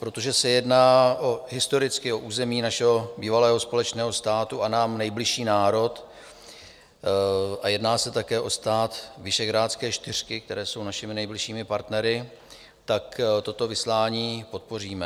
Protože se jedná historicky o území našeho bývalého společného státu a nám nejbližší národ a jedná se také o stát Visegrádské čtyřky, které jsou našimi nejbližšími partnery, tak toto vyslání podpoříme.